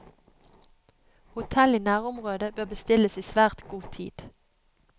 Hotell i nærområdet bør bestilles i svært god tid.